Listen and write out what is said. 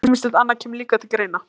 Ýmislegt annað kemur líka til greina.